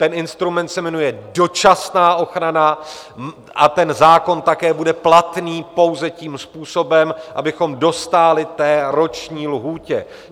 Ten instrument se jmenuje dočasná ochrana a ten zákon také bude platný pouze tím způsobem, abychom dostáli té roční lhůtě.